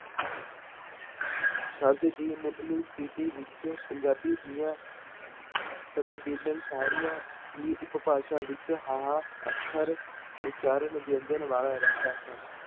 ਸ਼ਬਦ ਦੀ ਮੁਢਲੀ ਤਿੱਥੀ ਵਿੱਚ ਪੰਜਾਬੀ ਦੀਆਂ ਤਕਰੀਬਨ ਸਾਰੀਆਂ ਹੀ ਉਪਭਾਸ਼ਾ ਵਿੱਚ ਹਾਹਾ ਅੱਖਰ ਉਚਾਰਨ ਵਿਅੰਜਨ ਵਾਲਾ ਰਹਿੰਦਾ ਹੈ।